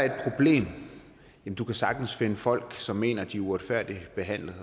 du kan sagtens finde folk som mener at de er uretfærdigt behandlet